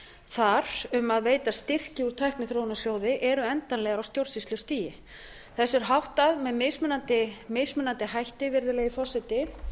þar um að veita styrki úr tækniþróunarsjóði eru endanlegar á stjórnsýslustigi þessu er háttað með mismunandi hætti virðulegi forseti